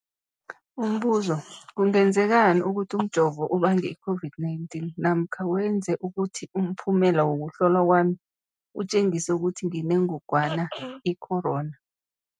Umbuzo, kungenzekana ukuthi umjovo ubange i-COVID-19 namkha wenze ukuthi umphumela wokuhlolwa kwami utjengise ukuthi nginengogwana i-corona?